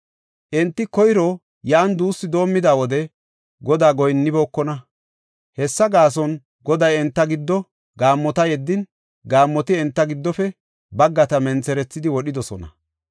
Enti koyro yan duussu doomida wode, Godaa goyinnibookona. Hessa gaason, Goday enta giddo gaammota yeddin, gaammoti enta giddofe baggata mentherethidi wodhidosona.